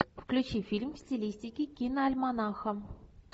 включи фильм в стилистике киноальманаха